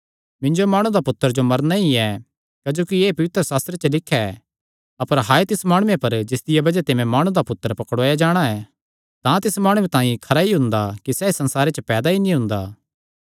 क्जोकि मैं माणु दा पुत्तर तां जिंआं जिसदे बारे च पवित्रशास्त्रे च लिख्या ऐ तिसियो मरना ई ऐ अपर तिस माणु पर हाय जिसदिया बज़ाह ते मैं माणु दा पुत्तर पकड़ुआया जांदा ऐ तां तिस माणुये तांई खरा हुंदा कि सैह़ पैदा ई नीं हुंदा